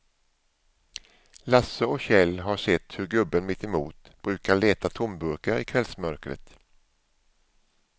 Lasse och Kjell har sett hur gubben mittemot brukar leta tomburkar i kvällsmörkret.